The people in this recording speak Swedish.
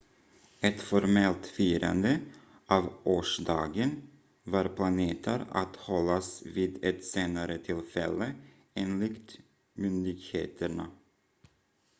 ett formellt firande av årsdagen var planerat att hållas vid ett senare tillfälle enligt myndigheterna